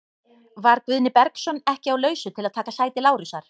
Var Guðni Bergsson ekki á lausu til að taka sæti Lárusar?